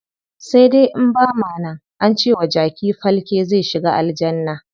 Sai dai in bama nan, ance wa jaki falke zai shiga aljanna.